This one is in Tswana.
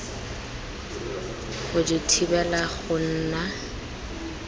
go di thibela go nna